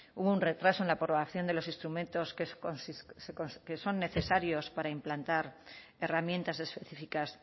hubo un retraso en la aprobación de los instrumentos que son necesarios para implantar herramientas específicas